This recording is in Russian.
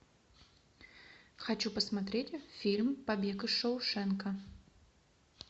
хочу посмотреть фильм побег из шоушенка